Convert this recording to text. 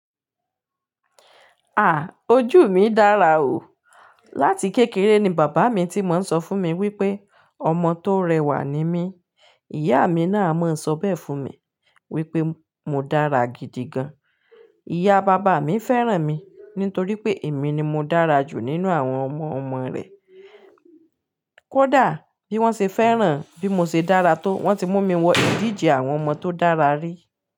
Ojú mi dára o. Láti kékeré ni bàbá mi tí máa ń sọ fún mi wípé ọmọ tó rẹwà ni mí. Ìyá mi náà máa ń sọ bẹ́ẹ̀ fún mi wípé mo dára gidi gan. Ìyá bàbá mi fẹ́ràn mi nítorí pé èmi ni mo dára jù nínú àwọn ọmọ-ọmọ rẹ̀. Kódà bí wọ́n ṣe fẹ́ràn bí mo ṣe dára tó, wọ́n ti mú mi wọ ìdíje àwọn ọmọ tó dára rí.